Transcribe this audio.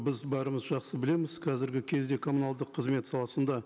біз бәріміз жақсы білеміз қазіргі кезде коммуналдық қызмет саласында